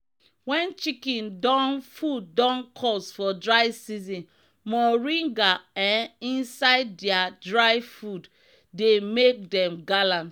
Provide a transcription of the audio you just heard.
na dogon yaro water we dey take wash pig house make e commot dat im smell.